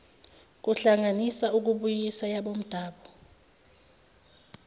kohlanganisa ukubuyisa yabomdabu